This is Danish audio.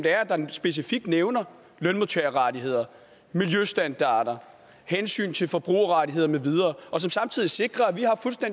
specifikt nævner lønmodtagerrettigheder miljøstandarder hensyn til forbrugerrettigheder og som samtidig sikrer at